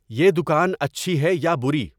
یہ دکان اچھی ہے یا بری